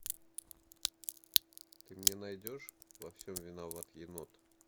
ты мне найдешь во всем виноват енот